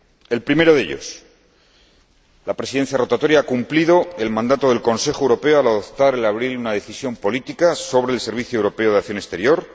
El primero de ellos la Presidencia rotatoria ha cumplido el mandato del Consejo Europeo al adoptar, en abril, una decisión política sobre el Servicio Europeo de Acción Exterior.